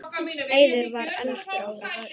Eiður var elstur okkar.